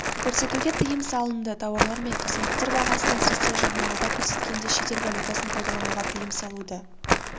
көрсетуге тыйым салынды тауарлар мен қызметтер бағасын әсіресе жарнамада көрсеткенде шетел валютасын пайдалануға тыйым салуды